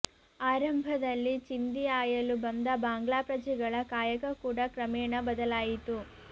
ಆರಂಭದಲ್ಲಿ ಚಿಂದಿ ಆಯಲು ಬಂದ ಬಾಂಗ್ಲಾ ಪ್ರಜೆಗಳ ಕಾಯಕ ಕೂಡ ಕ್ರಮೇಣ ಬದಲಾಯಿತು